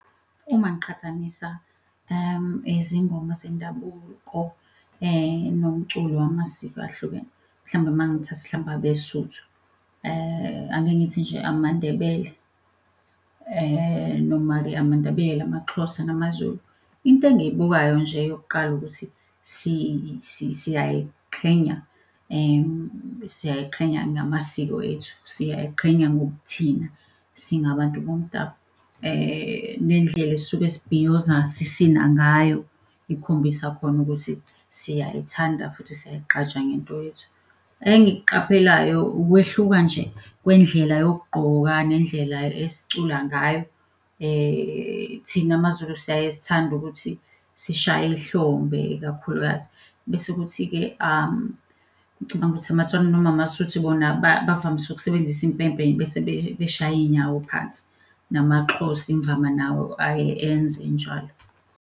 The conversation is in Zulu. Uma ngiqhathanisa izingoma zendabuko nomculo wamasiko ahlukene, mhlawumbe mangithatha mhlawumbe abeSotho, ake ngithi nje amaNdebele, noma-ke amaNdebele, amaXhosa namaZulu. Into engiyibukayo nje yokuqala ukuthi siyayiqhenya, siyayiqhenya ngamasiko ethu, siyayiqhenya ngobuthina, singabantu bomdabu. Nendlela esisuke sibhiyoza, sisina ngayo ikhombisa khona ukuthi siyayithanda futhi siyay'gqaja ngento yethu. Engikuqaphelayo, ukwehluka nje kwendlela yokugqoka nendlela esicula ngayo. Thina maZulu siyaye sithande ukuthi sishaye ihlombe ikakhulukazi bese kuthi-ke, ngicabanga ukuthi amaTswana noma amaSotho bona bavamise ukusebenzisa impempe bese beshaya iy'nyawo phansi. NamaXhosa imvama nawo aye enze njalo.